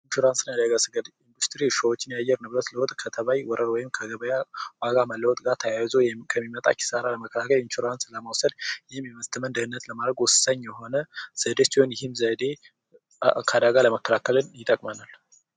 ኢንሹራንስ እና የአደጋ ስጋት የአየር ንብረት ለውጥ የተባች ወረራ ወይም ከገበያ ዋጋ መለወጥ ጋር ተያይዞ ከሚመጣ ኪሳራ ኢንሹራንስ የኢንቨስትመንት ደህንነትን ለማረጋገጥ ወሳኝ የሆነ ዘዴ ሲሆን ይህም ዘዴ ከአደጋ ለመከላከል ይጠቅመናል።